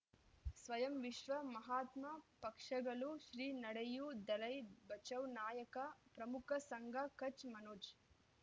ಸ್ವಯಂ ವಿಶ್ವ ಮಹಾತ್ಮ ಪಕ್ಷಗಳು ಶ್ರೀ ನಡೆಯೂ ದಲೈ ಬಚೌ ನಾಯಕ ಪ್ರಮುಖ ಸಂಘ ಕಚ್ ಮನೋಜ್